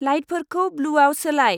लाइटफोरखौ ब्लुआव सोलाय।